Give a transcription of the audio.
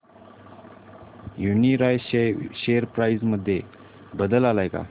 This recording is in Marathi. यूनीरॉयल शेअर प्राइस मध्ये बदल आलाय का